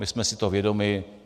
My jsme si toho vědomi.